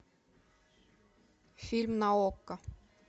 фильм на окко